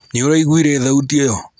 Níũraiguire thauti iyo